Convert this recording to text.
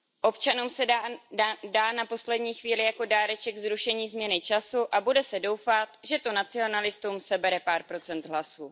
Občanům se dá na poslední chvíli jako dáreček zrušení změny času a bude se doufat, že to nacionalistům sebere pár procent hlasů.